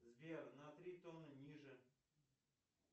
сбер на три тона ниже